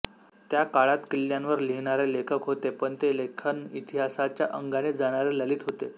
त्या काळात किल्ल्यांवर लिहिणारे लेखक होते पण ते लेखन इतिहासाच्या अंगाने जाणारे ललित होते